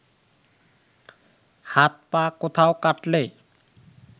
হাত পা কোথাও কাটলে